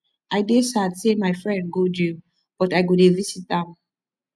i dey sad say my friend go jail but i go dey visit am